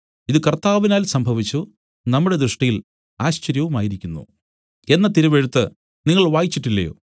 ഇതു കർത്താവിനാൽ സംഭവിച്ചു നമ്മുടെ ദൃഷ്ടിയിൽ ആശ്ചര്യവുമായിരിക്കുന്നു എന്ന തിരുവെഴുത്ത് നിങ്ങൾ വായിച്ചിട്ടില്ലയോ